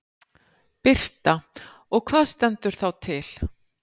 Birta: Og hvað stendur þá til?